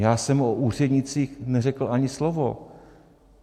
Já jsem o úřednících neřekl ani slovo.